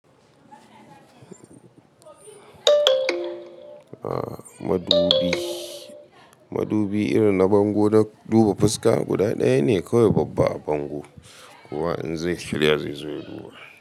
A madubi, madubi irin na bango da duba fuska guda ɗaya ne kawai babba bango, kowa in zai shirya zai zo ya duba.